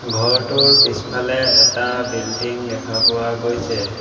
ঘৰটোৰ পিছফালে এটা বিল্ডিং দেখা পোৱা গৈছে।